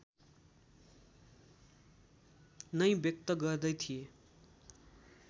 नै व्यक्त गर्दै थिए